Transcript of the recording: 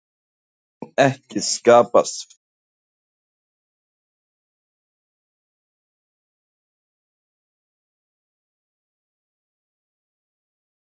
Mun ekki skapast félagslegt vandamál í bænum fari svo að álverið loki endanlega?